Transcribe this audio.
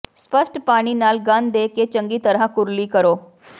ਸਪੱਸ਼ਟ ਪਾਣੀ ਨਾਲ ਗਨ ਦੇ ਕੇ ਚੰਗੀ ਤਰ੍ਹਾਂ ਕੁਰਲੀ ਕਰੋ